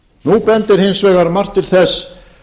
nú bendir hins vegar margt til þess